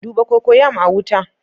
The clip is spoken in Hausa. Duba cocoyam a wuta